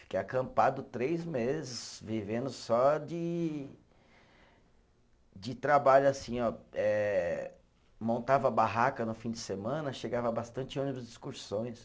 Fiquei acampado três meses, vivendo só de, de trabalho assim, ó, eh, montava a barraca no fim de semana, chegava bastante ônibus de excursões.